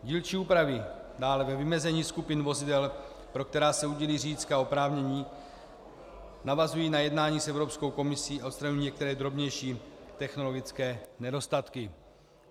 Dílčí úpravy dále ve vymezení skupin vozidel, pro která se udílí řidičská oprávnění, navazují na jednání s Evropskou komisí a odstraňují některé drobnější technologické nedostatky.